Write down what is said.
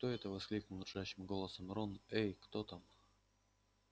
кто это воскликнул дрожащим голосом рон эй кто там